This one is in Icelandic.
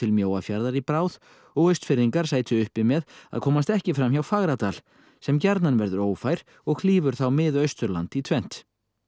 Mjóafjarðar í bráð og Austfirðingar sætu uppi með að komast ekki fram hjá Fagradal sem gjarnan verður ófær og klýfur þá Mið Austurland í tvennt